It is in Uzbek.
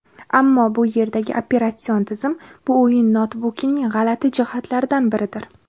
Ammo bu yerdagi operatsion tizim bu o‘yin noutbukining g‘alati jihatlaridan biridir.